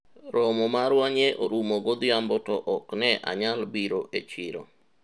romo marwa nye orumo godhiambo to ok ne anyal biro e chiro